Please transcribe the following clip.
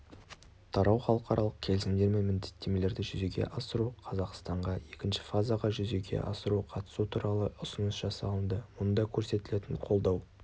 тарау халықаралық келісімдер мен міндеттемелерді жүзеге асыру қазақстанға екінші фазаға жүзеге асыру қатысу туралы ұсыныс жасалынды мұнда көрсетілетін қолдау